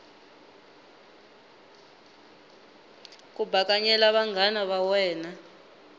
ku bakanyela vanghana va wena